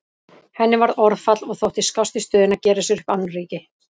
Henni varð orðfall og þótti skást í stöðunni að gera sér upp annríki.